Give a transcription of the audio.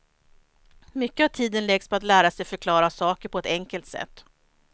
Mycket av tiden läggs på att lära sig förklara saker på ett enkelt sätt.